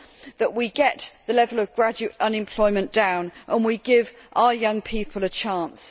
that we get the level of graduate unemployment down and we give our young people a chance.